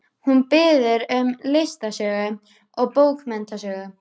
Hún biður um listasögu og bókmenntasögu.